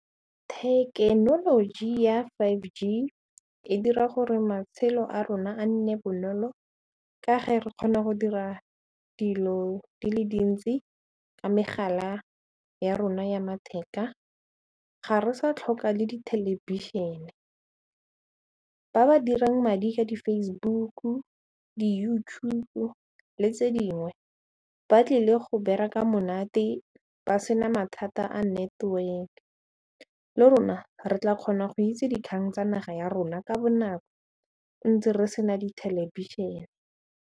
Thekenoloji ya five G e dira gore matshelo a rona a nne bonolo ka ge re kgona go dira dilo di le dintsi ka megala ya rona ya matheka, ga re sa tlhoka le di thelebišene ba ba dirang madi ka di-Facebook, di-YouTube le tse dingwe ba tlile go bereka monate ba sena mathata a network le rona re tla kgona go itse dikgang tsa naga ya rona ka bonako ntse re sena dithelebišene.